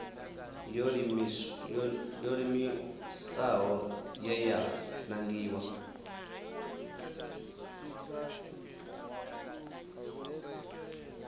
yo iimisaho ye ya nangiwa